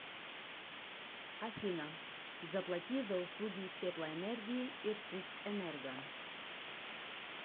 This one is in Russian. афина заплати за услуги теплоэнергии иркутскэнерго